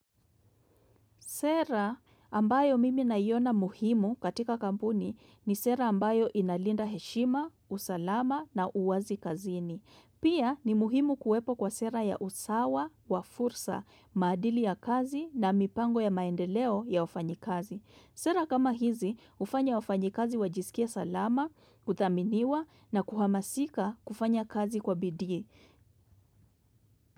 Sera ambayo mimi naiona muhimu katika kampuni ni sera ambayo inalinda heshima, usalama na uwazi kazini. Pia ni muhimu kuwepo kwa sera ya usawa, wafursa, maadili ya kazi na mipango ya maendeleo ya wafanyi kazi. Sera kama hizi hufanya wafanyi kazi wajisikie salama, kudhaminiwa na kuhamasika kufanya kazi kwa bidii.